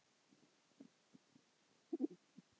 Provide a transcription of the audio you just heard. Ég get ekki tapað.